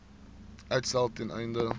uitstel ten einde